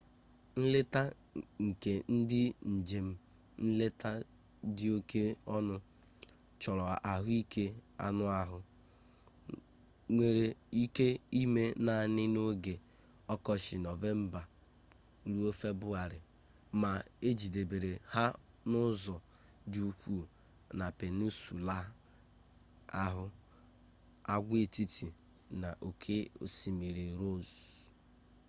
nleta nke ndị njem nleta dị oke ọnụ chọrọ ahụike anụ ahụ nwere ike ịme naanị n'oge ọkọchị nov-feb ma ejedebere ha n'ụzọ dị ukwuu na peninsula ahụ agwaetiti na oke osimiri ross